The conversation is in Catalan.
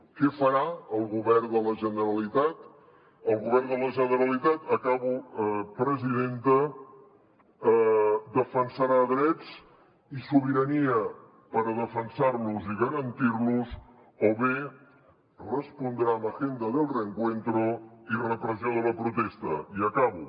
què farà el govern de la generalitat el govern de la generalitat acabo presidenta defensarà drets i sobirania per defensar los i garantir los o bé respondrà amb agenda del reencuentro i repressió de la protestai acabo